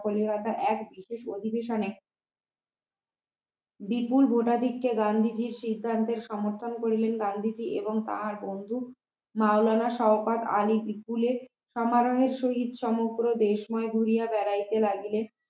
বিপুল ভোটাধিক্য গান্ধীজীর সিদ্ধান্তের সমর্থন করিলেন গান্ধীজি এবং তাহার বন্ধু মাওলানা সওকাত আলী বিপুলের সমারহে সহিত সমগ্র দেশময় ঘুরিয়া বেড়াইতে লাগলেন